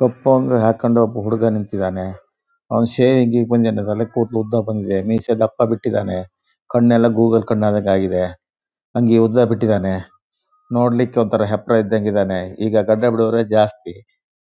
ಕಪ್ಪಂಗಿ ಹಾಕ್ಕೊಂಡ್ ಒಬ್ಬ ಹುಡುಗ ನಿಂತಿದನೆ. ಅವನು ಶೇವಿಂಗ್ ಗೆ ಬಂದಿದಾನೆ ತಲೆ ಕೂದಲು ಉದ್ದ ಬಂದಿದೆ ಮೀಸೆ ದಪ್ಪ ಬಿಟ್ಟಿದಾನೆ. ಕಣ್ಣೆಲ್ಲ ಗೂಗ್ಲ್ ಕಣ್ ಆದಂಗೆ ಆಗಿದೆ ಅಂಗಿ ಉದ್ದ ಬಿಟ್ಟಿದಾನೆ ನೋಡ್ಲಿಕ್ಕೆ ಒಂತರ ಹೆಪ್ರ ಇದ್ದಂಗೆ ಇದಾನೆ. ಈಗ ಗಡ್ಡ ಬಿಡುವವರೇ ಜಾಸ್ತಿ